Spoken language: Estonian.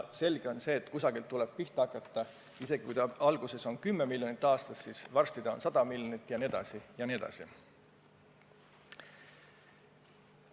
Selge on see, et kusagilt tuleb pihta hakata: isegi kui alguses on see summa 10 miljonit aastas, siis varsti see on 100 miljonit jne.